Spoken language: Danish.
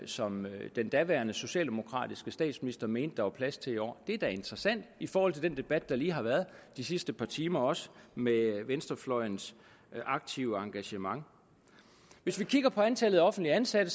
som den daværende socialdemokratiske statsminister mente der var plads til i år det er da interessant i forhold til den debat der lige har været de sidste par timer også med venstrefløjens aktive engagement hvis vi kigger på antallet af offentligt ansatte